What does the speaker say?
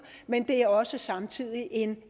men det er også samtidig en